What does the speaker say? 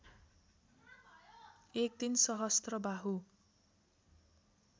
एक दिन सहस्त्रबाहु